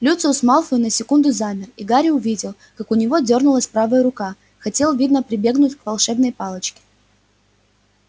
люциус малфой на секунду замер и гарри увидел как у него дёрнулась правая рука хотел видно прибегнуть к волшебной палочке